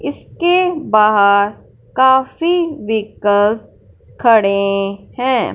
इसके बाहर काफी विकस खड़े हैं।